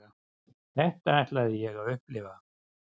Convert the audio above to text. Þetta ætlaði ég að upplifa.